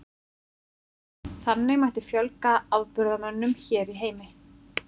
Þannig mætti fjölga afburðamönnum hér í heimi.